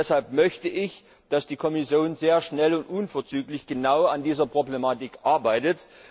Deshalb möchte ich, dass die Kommission sehr schnell und unverzüglich genau an dieser Problematik arbeitet.